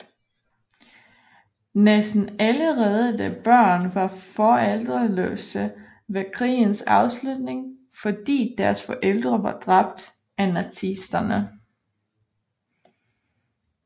Næsten alle reddede børn var forældreløse ved krigens afslutning fordi deres forældre var dræbt af nazisterne